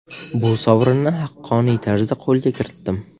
Bu sovrinni haqqoniy tarzda qo‘lga kiritdim.